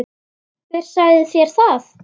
Hver sagði þér það?